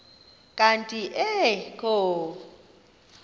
kanti ee kho